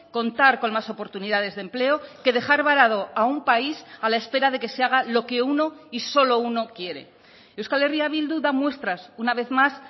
contar con más oportunidades de empleo que dejar varado a un país a la espera de que se haga lo que uno y solo uno quiere euskal herria bildu da muestras una vez más